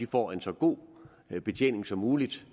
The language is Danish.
får en så god betjening som muligt